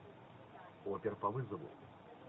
опер по вызову